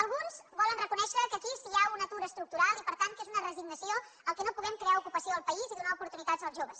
alguns volen reconèixer que aquí hi ha un atur estructural i per tant que és una resignació que no puguem crear ocupació al país i donar oportunitats als joves